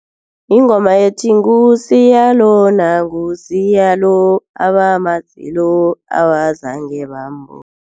Yingoma ethi, nguSiya lona nguSiya lo abamaziko abazange bambona.